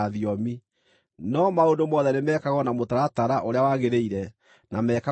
No maũndũ mothe nĩmekagwo na mũtaratara ũrĩa wagĩrĩire, na mekagwo na kĩhaarĩro.